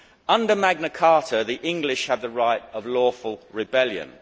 Under Magna Carta, the English have the right of lawful rebellion.